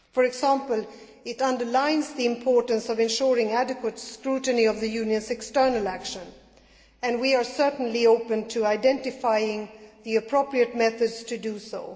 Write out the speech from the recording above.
For example, it underlines the importance of ensuring adequate scrutiny of the Union's external action, and we are certainly open to identifying the appropriate methods to do so.